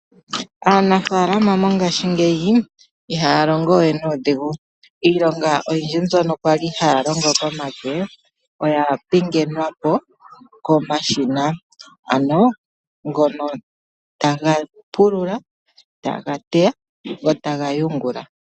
Aanafalama mongashingeyi iha ya longo we nuudhigu, iilonga mbyoka kwali haya longo komake oya pingenwa po komashina ano ngono taga pulula, taga teya go ta ga yungula.